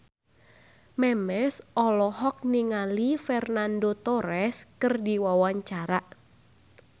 Memes olohok ningali Fernando Torres keur diwawancara